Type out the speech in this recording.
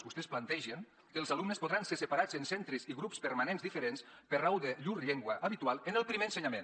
vostès plantegen que els alumnes podran ser separats en centres i grups permanents diferents per raó de llur llengua habitual en el primer ensenyament